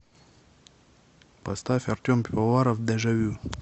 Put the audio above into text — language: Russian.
поставь артем пивоваров дежавю